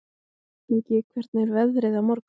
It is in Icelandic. Ingi, hvernig er veðrið á morgun?